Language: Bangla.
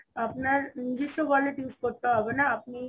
আপনার নিজস্ব wallet use করতে হবে না আপনি